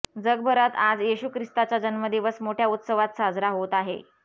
जगभरात आज येशू ख्रिस्ताचा जन्मदिवस मोठ्या उत्सवात साजरा होत आहे